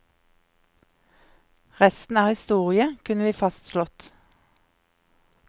Resten er historie, kunne vi fastslått.